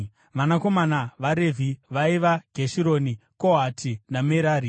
Vanakomana vaRevhi vaiva: Gerishoni, Kohati naMerari.